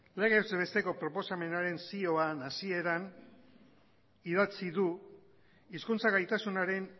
legez besteko proposamenaren zioan hasieran idatzi du hizkuntza gaitasunaren